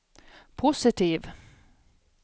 positiv